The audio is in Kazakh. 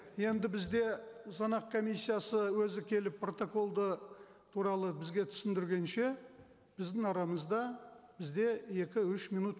енді бізде санақ комиссиясы өзі келіп протокол туралы бізге түсіндіргенше біздің арамызда бізде екі үш минут